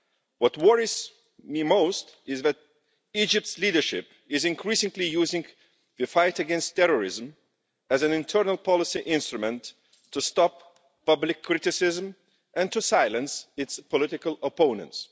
What worries me most is that Egypt's leadership is increasingly using the fight against terrorism as an internal policy instrument to stop public criticism and to silence its political opponents.